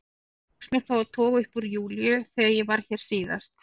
Eitt tókst mér þó að toga upp úr Júlíu þegar ég var hér síðast.